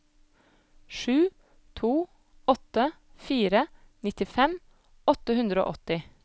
sju to åtte fire nittifem åtte hundre og åtti